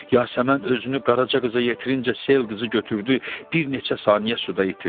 Yasəmən özünü Qaraca qıza yetirincə sel qızı götürdü, bir neçə saniyə suda itirdi.